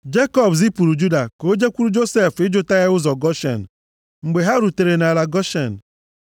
Jekọb zipụrụ Juda ka jekwuru Josef ịjụta ya ụzọ Goshen. Mgbe ha rutere nʼala Goshen,